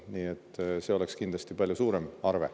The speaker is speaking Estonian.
Nii et see arve oleks kindlasti palju suurem.